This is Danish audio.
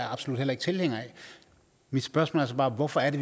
absolut heller ikke tilhænger af mit spørgsmål er så bare hvorfor er det